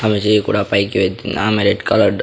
ఆమె చేయి కూడా పైకి వెత్తింది ఆమె రెడ్ కలర్డ్ --